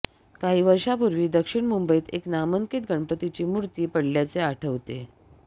काही वर्षापूर्वी दक्षिण मुंबईत एक नामांकित गणपतीची मूर्ती पडल्याचे आठवते